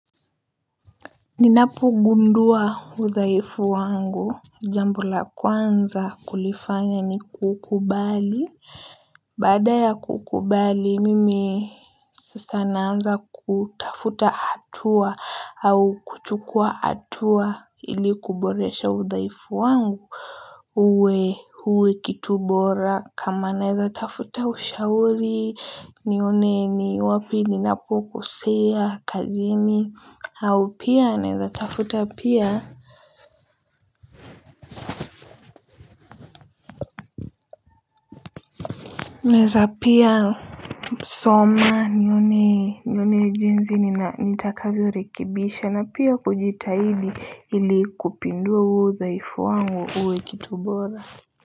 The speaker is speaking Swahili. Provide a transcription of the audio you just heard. Ninapo gundua udhaifu wangu jambo la kwanza kulifanya ni kukubali. Baada ya kukubali mimi sasa naanza kutafuta hatua au kuchukua hatua ili kuboresha udhaifu wangu. Uwe uwe kitu bora kama naeza tafuta ushauri nione ni wapi ninapo kosea kazini au pia naeza tafuta pia. Naeza pia soma nione nione jinsi nina nitakavyorekibisha na pia kujitahidi ili kupindua huo udhaifu wangu uwe kitubora.